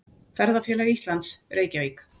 Ferðafélag Íslands, Reykjavík.